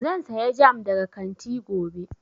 Zan saya jam daga kanti gobe